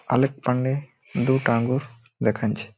আলেক পান্ডে দুটো আঙ্গুর দেখাচ্ছে।